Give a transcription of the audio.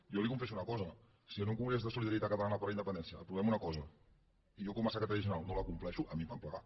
jo li confesso una cosa si en un congrés de solidaritat catalana per la independència aprovem una cosa i jo com a secretari general no la compleixo a mi em fan plegar